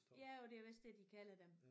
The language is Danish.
Jo det er vist det de kalder dem